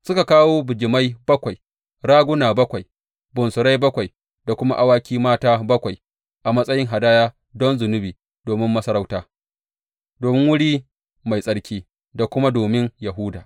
Suka kawo bijimai bakwai, raguna bakwai, bunsurai bakwai da kuma awaki mata bakwai a matsayin hadaya don zunubi domin masarauta, domin wuri mai tsarki da kuma domin Yahuda.